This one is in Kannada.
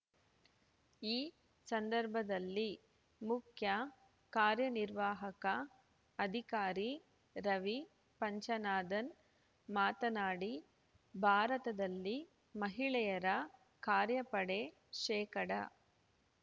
ಈ ಸಂದರ್ಭದಲ್ಲಿ ಮುಖ್ಯ ಕಾರ್ಯನಿರ್ವಾಹಕ ಅಧಿಕಾರಿ ರವಿ ಪಂಚನಾಧನ್ ಮಾತನಾಡಿ ಭಾರತದಲ್ಲಿ ಮಹಿಳೆಯರ ಕಾರ್ಯಪಡೆ ಶೇಕಡಾ